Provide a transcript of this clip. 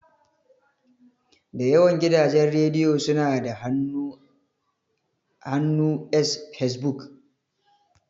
Da yawan gidajen rediyo suna da hannu s Fesbuk.